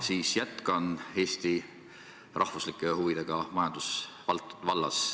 Ma jätkan Eesti riigi huvidega majandusvallas.